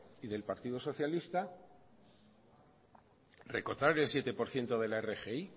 y del partido socialista recortar el siete por ciento de la rgi